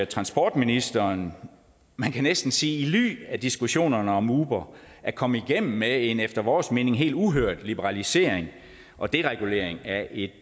transportministeren man kan næsten sige i ly af diskussionerne om uber at komme igennem med en efter vores mening helt uhørt liberalisering og deregulering af et